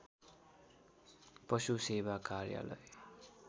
पशु सेवा कार्यालय